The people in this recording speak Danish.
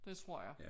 Det tror jeg